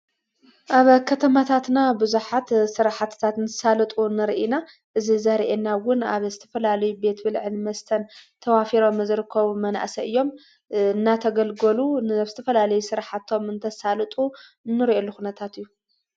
ኣብ ከተማታትና ብዙኃት ሠርሓትታት እንተሳልጡ ንርኢና እዝ ዘርአናውን ኣብ እስተፈላለዩ ቤትብልዕንመስተን ተዋፊሮ ምዝርኮቡ መናእሰይ እዮም እናተገልገሉ ንዝተፈላለየ ስራሕቶም እንተሣልጡ ንርዩ ልኹነታት እዩ።